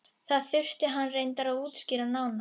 Það þurfti hann reyndar að útskýra nánar.